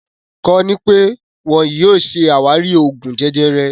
Kọ́ni pẹ tíì wọn yìí ó ṣe ṣé àwárí Oògún jẹjẹrẹ